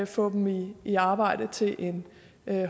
få dem i i arbejde til en